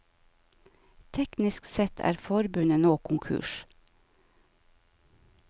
Teknisk sett er forbundet nå konkurs.